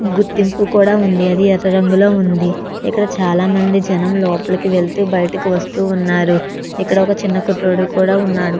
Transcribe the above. గుర్తింపు కూడా ఉంది అది ఎర్ర రంగులో ఉంది ఇక్కడ చాలా మంది జనం లోపలికి వెళ్తూ బయటికి వస్తూ ఉన్నారు ఇక్కడ ఒక చిన్న కుర్రోడు కూడా ఉన్నాడు.